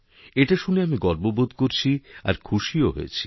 এটা শুনে আমি গর্ব বোধ করছি আর খুশিও হয়েছি